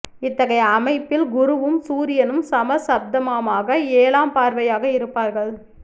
இத்தகைய அமைப்பில் குரு வும் சூரியனும் சம சப்தமமாக ஏழாம்பார்வையாக இருப்பார்கள்